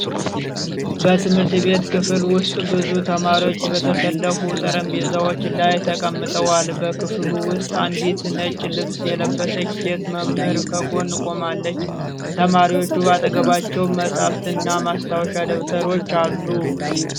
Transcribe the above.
በትምህርት ቤት ክፍል ውስጥ፣ ብዙ ተማሪዎች በተሰለፉ ጠረጴዛዎች ላይ ተቀምጠዋል። በክፍሉ ውስጥ አንዲት ነጭ ልብስ የለበሰች ሴት መምህር ከጎን ቆማለች። ተማሪዎቹ በአጠገባቸው መጻሕፍትና ማስታወሻ ደብተሮች አሉ።